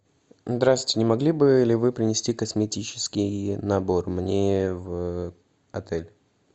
здравствуйте не могли бы ли вы принести косметический набор мне в отелль